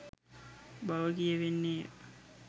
බව කියැවෙන්නේ ය